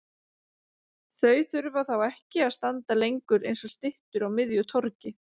Þau þurfa þá ekki að standa lengur eins og styttur á miðju torgi.